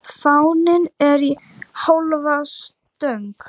Fáninn er í hálfa stöng.